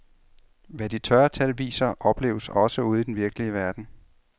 Hvad de tørre tal viser, opleves også ude i den virkelige verden.